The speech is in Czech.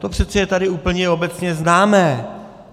To přeci je tady úplně obecně známé.